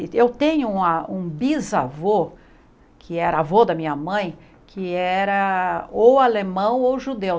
Eu tenho uma um bisavô, que era avô da minha mãe, que era ou alemão ou judeu.